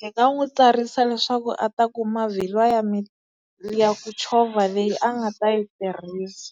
hi nga n'wi tsarisa leswaku a ta kuma vhilwa ya ya ku chovha leyi a nga ta yi tirhisa.